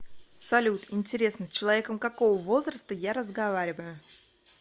салют интересно с человеком какого возраста я разговариваю